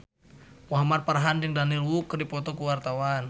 Muhamad Farhan jeung Daniel Wu keur dipoto ku wartawan